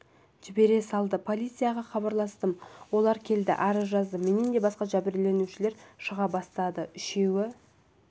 жібере салды полицияға хабарластым олар келді арыз жаздым менен басқа да жәбірленушілер шыға бастады үшеуі